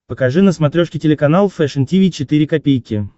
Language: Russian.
покажи на смотрешке телеканал фэшн ти ви четыре ка